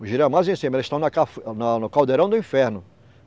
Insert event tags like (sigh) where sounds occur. O girau é mais em cima, eles estão na (unintelligible) no caldeirão do inferno.